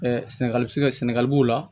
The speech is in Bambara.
sɛnɛgali siga sɛnɛgali b'o la